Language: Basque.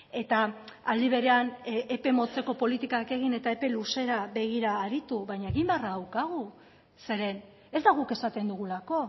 eta aldi berean epe motzeko politikak egin eta epe luzera begira aritu baina egin beharra daukagu zeren ez da guk esaten dugulako